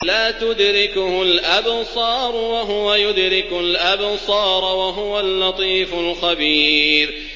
لَّا تُدْرِكُهُ الْأَبْصَارُ وَهُوَ يُدْرِكُ الْأَبْصَارَ ۖ وَهُوَ اللَّطِيفُ الْخَبِيرُ